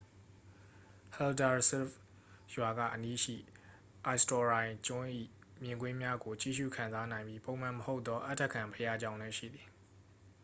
haldarsvík ရွာက အနီးရှိ eysturoy ကျွန်း၏ မြင်ကွင်းများကို ကြည့်ရူခံစားနိုင်ပြီး ပုံမှန်မဟုတ်သော အဌဂံဘုရားကျောင်းလည်း ရှိသည်။